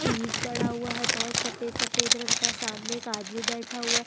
चीज पड़ा हुआ है बोहोत सफेद-सफेद रंग का सामने एक आदमी बैठा हुआ है।